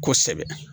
Kosɛbɛ